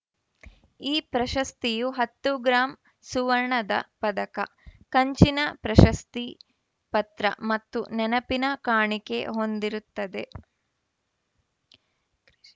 ಈ ಪ್ರಶಸ್ತಿಯು ಹತ್ತು ಗ್ರಾಂ ಸುವರ್ಣದ ಪದಕ ಕಂಚಿನ ಪ್ರಶಸ್ತಿ ಪತ್ರ ಮತ್ತು ನೆನಪಿನ ಕಾಣಿಕೆ ಹೊಂದಿರುತ್ತದೆ